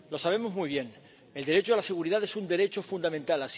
Lo sabemos muy bien el derecho a la seguridad es un derecho fundamental.